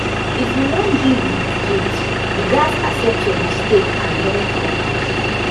if you wan deal wit guilt you gats accept your mistake and learn from am